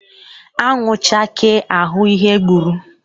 Anwụ chakee a hụ ihe gburu.